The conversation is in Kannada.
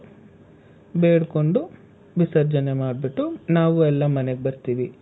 ಬೇಡ್ಕೊಂಡು, ವಿಸರ್ಜನೆ ಮಾಡ್ಬುಟ್ಟು ನಾವು ಎಲ್ಲಾ ಮನೆಗ್ ಬರ್ತೀವಿ.